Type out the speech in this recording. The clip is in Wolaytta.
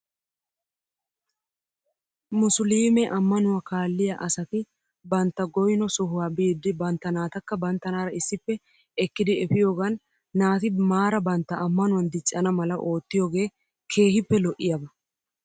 Musliime ammanuwaa kaalliyaa asati bantta goyno sohuwaa biiddi bantta naatakka banttanaara issippe ekkidi efiyoogan naati maara bantta ammanuwan diccana mala oottiyoogee keehippe lo'iyaaba